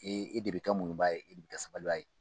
E e de bɛ ka muɲubaa e de bɛ kɛ sabalibaa ye